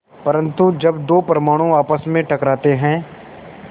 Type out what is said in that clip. परन्तु जब दो परमाणु आपस में टकराते हैं